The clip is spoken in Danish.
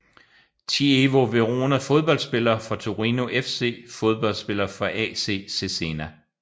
ChievoVerona Fodboldspillere fra Torino FC Fodboldspillere fra AC Cesena